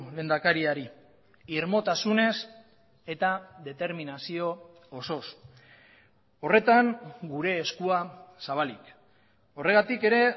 lehendakariari irmotasunez eta determinazio osoz horretan gure eskua zabalik horregatik ere